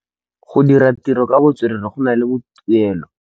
Go dira ditirô ka botswerere go na le tuelô.